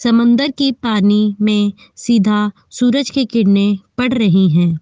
समंदर की पानी में सीधा सूरज की किरणें पड़ रही हैं।